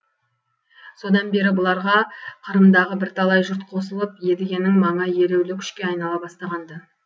содан бері бұларға қырымдағы бірталай жұрт қосылып едігенің маңы елеулі күшке айнала бастаған ды